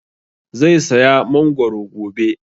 Zai saya mangoro gobe